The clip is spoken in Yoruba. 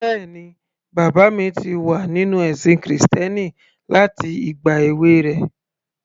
Bẹ́ẹ̀ni, bàbá mi ti wà nínú ẹ̀sìn krìstẹ́nì láti ìgbà èwe rẹ̀